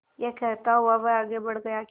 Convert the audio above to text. यह कहता हुआ वह आगे बढ़ गया कि